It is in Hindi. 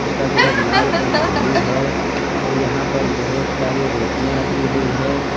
इसका कलर लाल और ब्ल्यू है और यहां पर बहुत सारी रोटियां रखी हुई हैं।